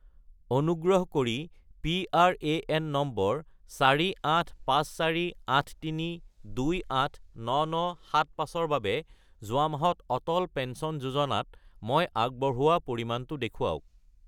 অনুগ্ৰহ কৰি PRAN number 485483289975 -ৰ বাবে যোৱা মাহত অটল পেঞ্চন যোজনাত মই আগবঢ়োৱা পৰিমাণটো দেখুৱাওক